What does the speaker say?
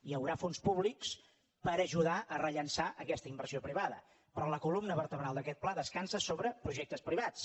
hi haurà fons públics per ajudar a rellançar aquesta inversió privada però la columna vertebral d’aquest pla descansa sobre projectes privats